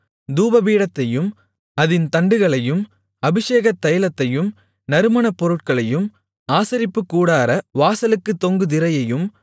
தூபபீடத்தையும் அதின் தண்டுகளையும் அபிஷேகத் தைலத்தையும் நறுமணப் பொருட்களையும் ஆசரிப்புக்கூடார வாசலுக்குத் தொங்கு திரையையும்